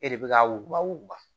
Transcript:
E de bɛ ka wba